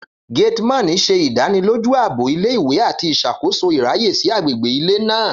Gateman ṣe idaniloju aabo ìle-ìwe ati iṣakoso iraye si agbegbe ile naa.